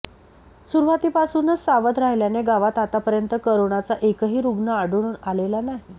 सुरुवातीपासूनच सावध राहिल्याने गावात आत्तापर्यंत करोनाचा एकही रुग्ण आढळून आलेला नाही